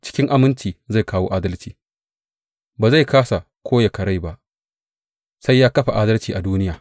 Cikin aminci zai kawo adalci; ba zai kāsa ko ya karai ba sai ya kafa adalci a duniya.